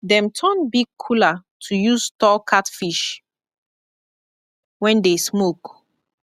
dem turn big cooler to use store catfish wen dey smoke